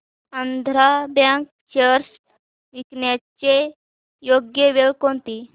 Andhra bank shares विकण्याची योग्य वेळ कोणती